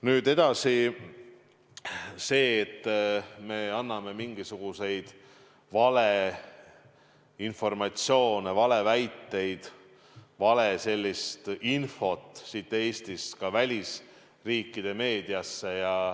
Nüüd edasi sellest, et me anname mingisugust valeinformatsiooni, valeväiteid, valeinfot siin Eestis ka välisriikide meediasse.